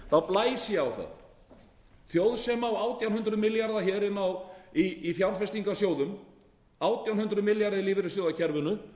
þá blæs ég á það þjóð sem á átján hundruð milljarða í fjárfestingarsjóðum átján hundruð milljarða í lífeyrissjóðakerfinu